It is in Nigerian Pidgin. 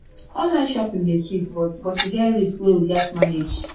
online shopping dey sweet but but e get risk wey we gats manage